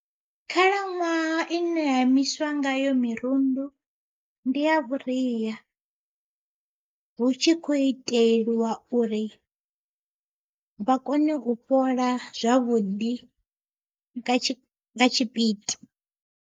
Khalaṅwaha ine ha imiswa ngayo mirundu ndi ya vhuria, hu tshi kho itelwa uri vha kone u fhola zwavhuḓi nga tshipidi.